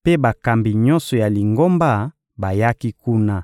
mpe bakambi nyonso ya Lingomba bayaki kuna.